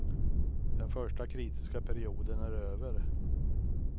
Den första kritiska perioden är över.